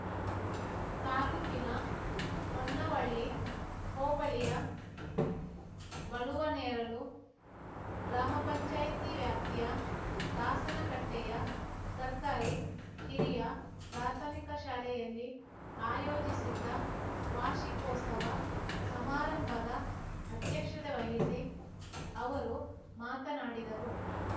ತಾಲ್ಲೂಕಿನ ಹೊನ್ನವಳ್ಳಿ ಹೋಬಳಿಯ ಬಳುವನೇರಲು ಗ್ರಾಮ ಪಂಚಾಯ್ತಿ ವ್ಯಾಪ್ತಿಯ ದಾಸನಕಟ್ಟೆಯ ಸರ್ಕಾರಿ ಹಿರಿಯ ಪ್ರಾಥಮಿಕ ಪಾಠ ಶಾಲೆಯಲ್ಲಿ ಆಯೋಜಿಸಿದ್ದ ವಾರ್ಷಿಕೋತ್ಸವ ಸಮಾರಂಭದ ಅದ್ಯಕ್ಷತೆ ವಹಿಸಿ ಅವರು ಮಾತನಾಡಿದರು